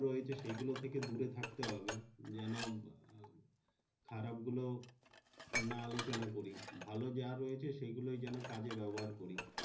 রয়েছে সেই গুলো থেকে দূরে থাকতে হবে জেন খারাপ গুলো না আলোচনা করি ভালো যা রয়েছে সে গুলোই যেন কাজে ব্যবহার করি।